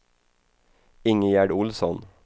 Ingegerd Olsson